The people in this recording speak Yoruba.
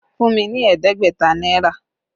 Fún mi ní ẹ̀ẹ́dẹ́gbẹ̀ta náírà!